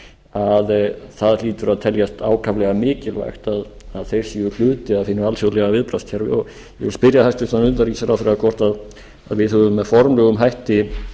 að það hlýtur að teljast ákaflega mikilvægt að þeir séu hluti af hinu alþjóðlega viðbragðskerfi og ég við spyrja hæstvirtan utanríkisráðherra hvort við höfum með formlegum hætti